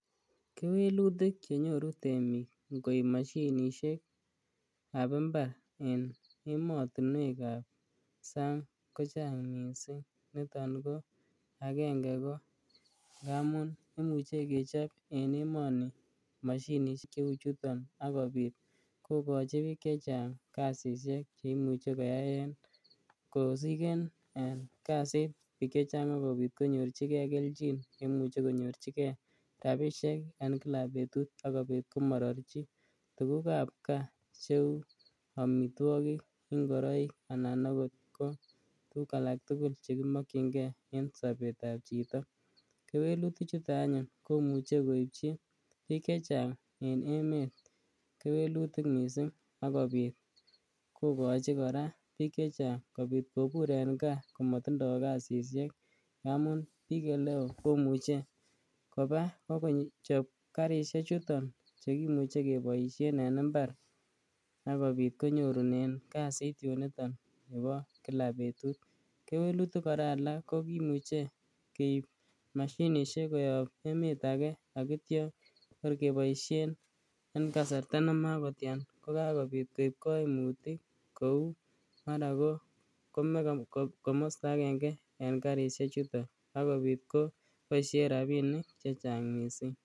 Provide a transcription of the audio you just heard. Kewelutik chenyoru temik, ngoib mashinisiek kab imbar en emotinuekab sang kochang missing niton ko agenge ko imuche kechob en emoni mashinisiek cheuu chuton akobit kokachibik chechang kasisiek cheimuche koyaen kosigen bik chechang kasit ago bit konyorchike kelchin komuche konyorchike rabisiek en Kila betut asiko mararchi tuguk kab ka cheuu amituakik ak tuguk alak tugul chekimakkyinge en sabetab chito. Kewelutik chuton komuche koityi chitugul en emeet ak komuche koityi kora bik chechang kobir en ka ngamun bik eleo komuche Kochab karisiek chuton chekimuche kebaisien en imbar asikobit konyorunen kasit yunito Kila betut. Kewelutik kora alak komuche keib mashinisiek koyab emetake akitya kebaisien en kasarta nematian kaib kaimutik mara kome kamasto agenge en karisiek chuton akiboisien rabinik chechang.